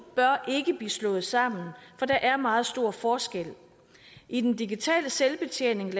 bør ikke slås sammen for der er meget stor forskel i den digitale selvbetjening